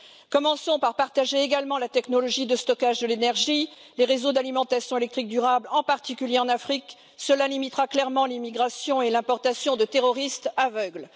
Commençons par partager également la technologie de stockage de l'énergie, les réseaux d'alimentation électrique durable, en particulier en Afrique cela limitera clairement l'immigration et l'importation de terroristes aveugles.